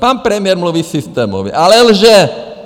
Pan premiér mluví systémově, ale lže!